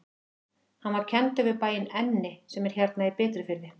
Hann var kenndur við bæinn Enni sem er hérna í Bitrufirði.